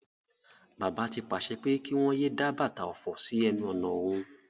Bàbá ti pàse pé kí wón yéé dá bàtà òfò sí enu ònà òhun.